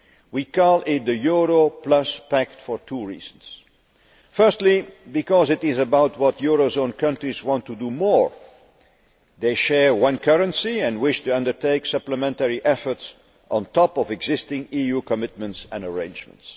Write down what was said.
We call it the Euro Plus Pact for two reasons firstly because it is about what eurozone countries want to do more they share one currency and wish to undertake supplementary efforts on top of existing EU commitments and arrangements